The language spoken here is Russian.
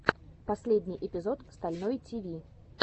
последний эпизод стальной тиви